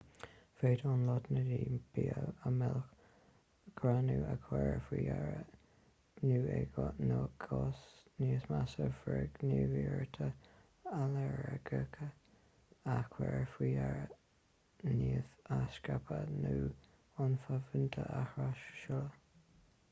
féadann lotnaidí bia a mhilleadh greannú a chur faoi deara nó i gcás níos measa frithghníomhartha ailléirgeacha a chur faoi deara nimh a scaipeadh nó ionfhabhtuithe a thras-seoladh